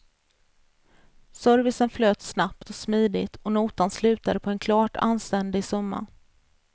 Servicen flöt snabbt och smidigt och notan slutade på en klart anständig summa.